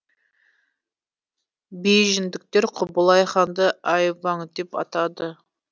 бейжіңдіктер құбылай ханды ай ваң деп атады